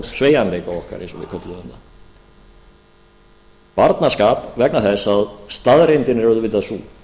sveigjanleika okkar eins og við kölluðum það barnaskap vegna þess að staðreyndin er auðvitað sú